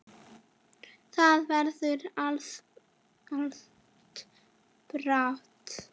Það verður ansi bratt.